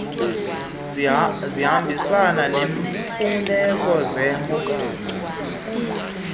zihambisana neemfuneko zemo